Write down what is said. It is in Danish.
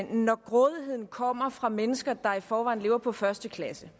når grådigheden kommer fra mennesker der i forvejen lever på første klasse